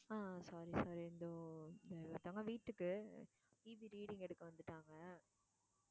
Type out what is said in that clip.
ஆஹ் sorry sorry இதோ ஒருத்தவங்க வீட்டுக்கு EB reading எடுக்க வந்துட்டாங்க.